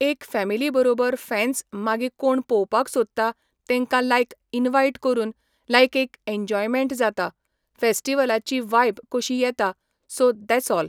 एक फॅमिली बरोबर फँन्स मागी कोण पोवपाक सोदता तेंकां लायक इनवायट करून लायक एक एनजॉयमेंट जाता फॅस्टीवलाची वायब कोशी येता सो देस् ऑल